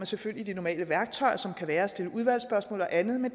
selvfølgelig de normale værktøjer som kan være at stille udvalgsspørgsmål og andet men